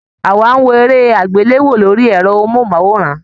Àwa n wò eré agbelewo lórí ẹrọ mohunmaworan